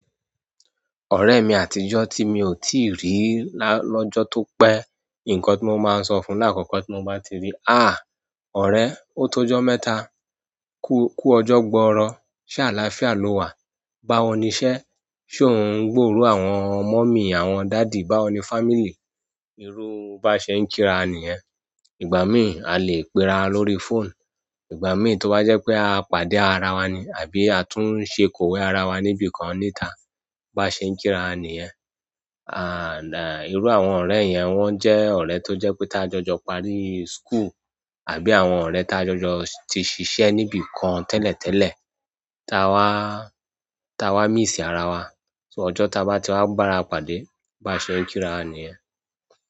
Orèmi àtijọ́ ti mi o tii ri lọ́jọ́ tó pẹ́, nǹkan tí mo máa sọ fún láàkọ́kọ́ tí mo bá ti rí i, "ọ̀rẹ́, ó tó ọjọ́ mẹ́ta, kú ọjọ́ gbọọrọ, ṣé àlàáfíà lo wà? Báwo ni iṣẹ́? Ṣé o ń gburò àwọn mummy àwọn daddy? Báwo ni family?" Irú bá ṣe i kí ra níyẹ̀n. Ìgbà mii alè pe rawa lórí fóònù. Ìgbà mìír to bá jẹ́ pé a pàdé ara wa ni àbí a tún ṣe kọ̀wé ara wa níbi kan níta. Bá ṣe ń kí ra ní ẹ̀. Irú àwọn ọ̀rẹ́ yẹn wọ́n jẹ́ ọ̀rẹ́ tó jẹ́ pé tá jọjọ parí school àbí àwọn ọ̀rẹ́ tá jọjọ ti ṣiṣẹ́ níbi kan tẹ́lẹ̀ tẹ́lẹ̀, ta wa n tá wa miss ara wa. Ṣó ọjọ́ tá bá ti wá gbàra pàdé bá ṣe ń kí ra níyen.